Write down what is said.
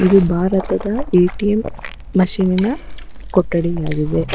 ಇದು ಭಾರತದ ATM machine ನಿನ ಕೊಠಡಿಯಾಗಿವೆ.